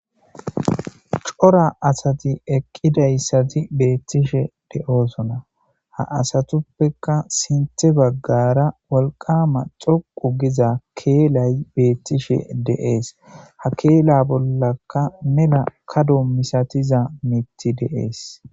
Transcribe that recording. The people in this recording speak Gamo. Coora asati eqqidaysati bettishe de'ossona ha asatuppeka sinththe baggara wolqamma dhoqqu gidda kellay betishe de'es ha keela bollaka mella kaddo masatiza miththay de'es.